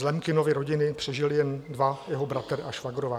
Z Lemkinovy rodiny přežili jen dva, jeho bratr a švagrová.